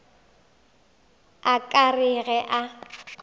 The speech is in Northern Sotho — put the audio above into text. a ka re ge a